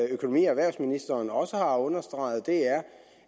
økonomi og erhvervsministeren også har understreget er